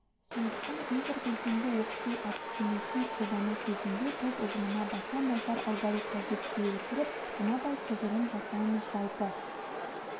сондықтан интербелсенді оқыту әдістемесін қолдану кезінде топ ұжымына баса назар аудару қажет дей отырып мынадай тұжырым жасаймыз жалпы